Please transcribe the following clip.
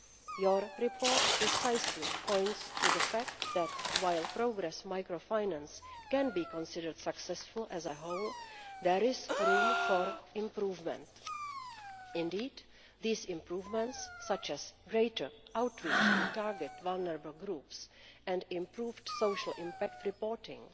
Your report precisely points to the fact that while Progress microfinance can be considered successful as a whole, there is room for improvement. Indeed, these improvements, such as greater outreach to target vulnerable groups and improved social impact reporting,